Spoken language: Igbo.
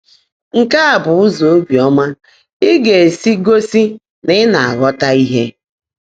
Nkè á bụ́ ụ́zọ́ óbíọ́mã ị́ gá-èsi gọ́sí ná ị́ ná-ághọ́tá íhe.